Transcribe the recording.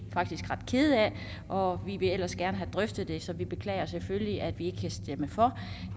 faktisk ret kede af og vi ville ellers gerne have drøftet det så vi beklager selvfølgelig at vi ikke kan stemme for